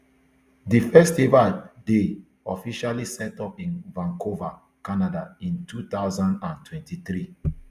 di festival dey officially set up in vancouver canada in two thousand and twenty-three